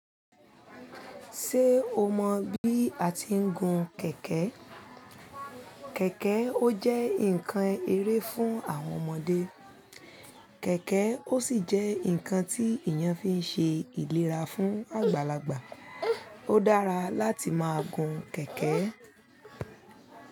Ṣé o mọ bí a ti ń gun kẹ̀kẹ́? Kẹ̀kẹ́ ó jẹ́ ǹkan eré fún àwọn ọmọdé, kẹ̀kẹ́ ó sì jẹ́ ǹkan tí èèyàn fi ń ṣe ìlera fún àgbàlagbà. Ó dára láti máa gun kẹ̀kẹ́.